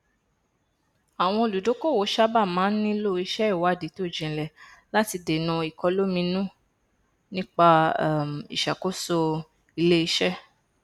àwọn olùdókòwò sábà máa n nílò iṣẹ ìwádìí tó jinlẹ láti dènà ìkọlominú nípa um ìṣàkóso iléiṣẹ